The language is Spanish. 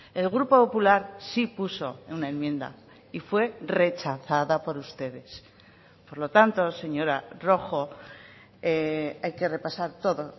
el grupo popular sí puso una enmienda y fue rechazada por ustedes por lo tanto señora rojo hay que repasar todo